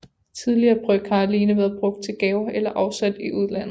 Tidligere bryg har alene været brugt til gaver eller afsat i udlandet